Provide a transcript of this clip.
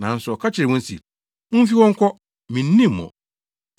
“Nanso ɔka kyerɛɛ wɔn se, ‘Mumfi hɔ nkɔ. Minnim mo!’